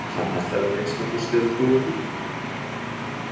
Hann ætlar að minnsta kosti að trúa því.